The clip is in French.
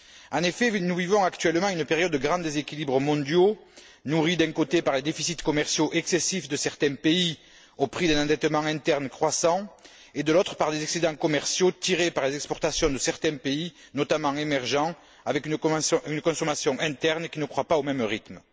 En effet, nous vivons actuellement une période de grands déséquilibres mondiaux, nourris d'un côté par les déficits commerciaux excessifs de certains pays au prix d'un endettement interne croissant, et de l'autre par des excédents commerciaux tirés par les exportations de certains pays, notamment émergents, avec une consommation interne qui ne croît pas au même rythme.